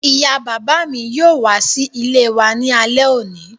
Ìyá bàbá mi yóò wá sí ilé wa ní alẹ́ òní